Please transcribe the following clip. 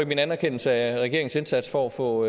min anerkendelse af regeringens indsats for at få